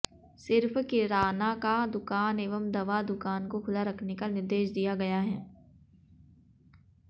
सिर्फ किराना का दुकान एवं दवा दुकान को खुला रखने का निर्देश दिया गया है